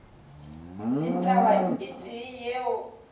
le taba e tee yeo